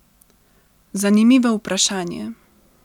Zanimivo vprašanje.